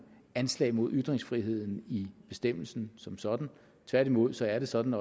anslag mod ytringsfriheden i bestemmelsen som sådan tværtimod er det sådan